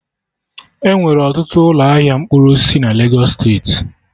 Enwere ọtụtụ ụlọ ahịa mkpụrụ osisi na Legos steeti